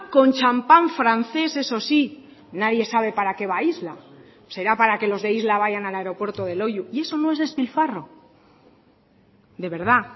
con champán francés eso sí nadie sabe para qué va a isla será para que los de isla vayan al aeropuerto de loiu y eso no es despilfarro de verdad